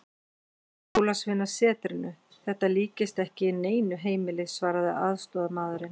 Jólasveinasetrinu, þetta líkist ekki neinu heimili, svaraði aðstoðarmaðurinn.